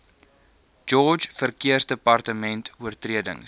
george verkeersdepartement oortredings